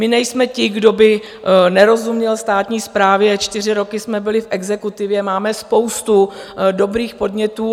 My nejsme ti, kdo by nerozuměl státní správě, čtyři roky jsme byli v exekutivě, máme spoustu dobrých podnětů.